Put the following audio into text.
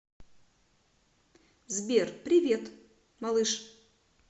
сбер привет малыш